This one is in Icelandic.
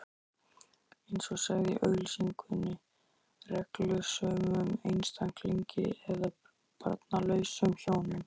eins og sagði í auglýsingunni: reglusömum einstaklingi eða barnlausum hjónum.